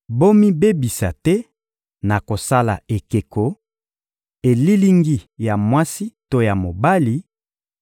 Bomibebisa te na kosala ekeko, elilingi ya mwasi to ya mobali,